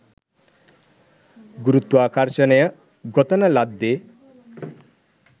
ගුරුත්වාකර්ශනය ගොතන ලද්දෙ